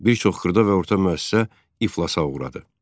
Bir çox xırda və orta müəssisə iflasa uğradı.